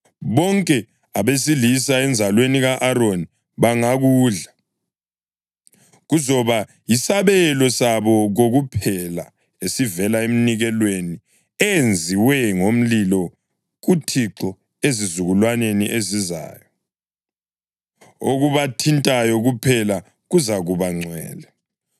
Bonke abesilisa enzalweni ka-Aroni bangakudla. Kuzoba yisabelo sabo kokuphela esivela eminikelweni eyenziwe ngomlilo kuThixo ezizukulwaneni ezizayo. Okubathintayo kuphela kuzakuba ngcwele.’ ”